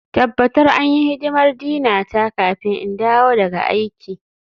Tabbatar an yi hidimar Dina ta kafin in dawo daga aiki.